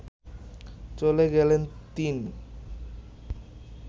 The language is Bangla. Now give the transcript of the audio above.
চলে গেলেন তিন